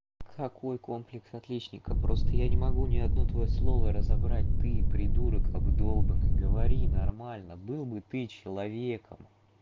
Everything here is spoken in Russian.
какой комплекс отличника просто я не могу ни одно твоё слово разобрать ты придурок обдолбанный говори нормально был бы ты человеком